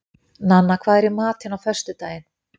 Nanna, hvað er í matinn á föstudaginn?